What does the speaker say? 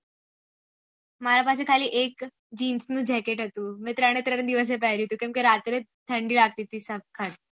મારા પાસે ખાલી એક જીનસ નું jacket હતું મેં ત્રણે ત્રણે દિવસ પેહ્રીયું હતું કેમ કે રાત્રે ઠંડી લગતી હતી સખત